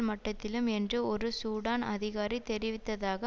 மட்டத்திலும் என்று ஒரு சூடான் அதிகாரி தெரிவித்ததாக